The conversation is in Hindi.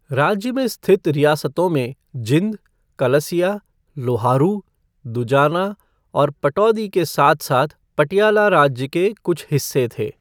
राज्य में स्थित रियासतों में जींद, कलसिया, लोहारू, दुजाना और पटौदी के साथ साथ पटियाला राज्य के कुछ हिस्से थे।